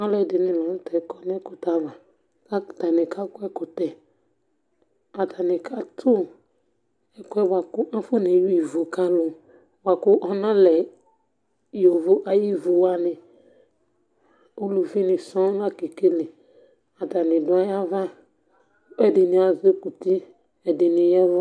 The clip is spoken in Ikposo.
Alʋɛdɩnɩ lanʋtɛ kɔnʋ ɛkʋtɛ ava, kʋ atanɩ kakɔ ɛkʋtɛ. Kʋ atanɩ katʋ ɛkʋɛ bʋakʋ akɔ ne wia ivʋ kʋ alʋ bʋakʋ akanlɛ ivʋ ayʋ ivʋwanɩ. Ʋlʋvi nɩ sɔŋ lakekele. Atanɩ dʋ ayʋ ava, kʋ ɛdɩnɩ azɩ kɔ uti ɛdɩnɩ ya ɛvʋ.